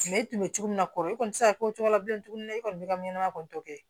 e tun bɛ cogo min na kɔrɔ i kɔni tɛ se ka kɛ o cogo la bilen tuguni e kɔni bɛ ka ɲɛnamaya kɔni to kɛ